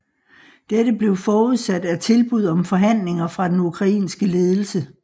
Dette blev forudsat af tilbud om forhandlinger fra den ukrainske ledelse